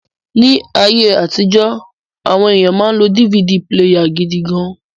Ni aye atijo, awon eniyan ma n lo DVD píléyà gidi gan